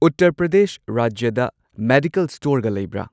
ꯎꯠꯇꯔ ꯄ꯭ꯔꯗꯦꯁ ꯔꯥꯖ꯭ꯌꯗ ꯃꯦꯗꯤꯀꯦꯜ ꯁ꯭ꯇꯣꯔꯒ ꯂꯩꯕ꯭ꯔꯥ?